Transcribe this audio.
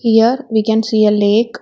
Here we can see a lake.